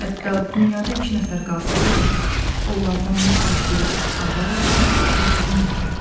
Hətta dünyada iki nəfər qalsa belə, onlardan mütləq biri ağa olacaq, digəri nökər.